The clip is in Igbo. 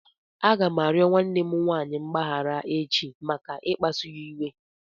Aga m arịọ nwanne m nwaanyị mgbaghara echi maka ikpasụ ya iwe.